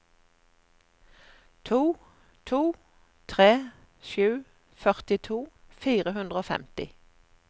to to tre sju førtito fire hundre og femti